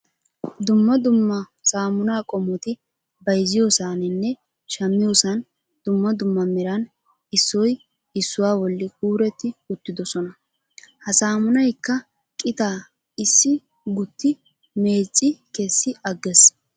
Dumma dumma samunaa qomoti bayzziyoosaninne shamiyoosan dumma dumma meran issoy issuwaa bolli kuretti uttidosona. Ha samunaykka qitaa issi gutti meecci kessi agees.